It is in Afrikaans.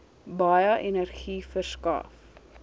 baie energie verskaf